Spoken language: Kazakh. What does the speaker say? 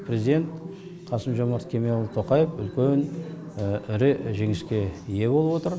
президент қасым жомарт кемелұлы тоқаев үлкен ірі жеңіске ие болып отыр